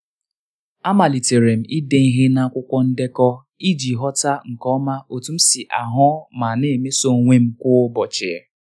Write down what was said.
a malitere m ide ihe n'akwụkwọ ndekọ iji ghọta nke ọma otú m si ahụ ma na-emeso onwe m kwa ụbọchị.